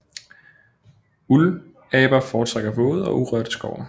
Uldaber foretrækker våde og urørte skove